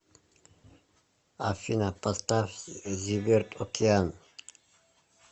афина поставь зиверт океан